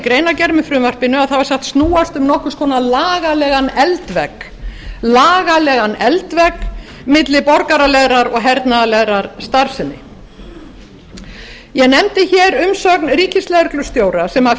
greinargerð með frumvarpinu að það var sagt snúast um nokkurs konar lagalegan eldvegg lagalegan eldvegg milli borgaralegrar og hernaðarlegrar starfsemi ég nefndi umsögn ríkislögreglustjóra sem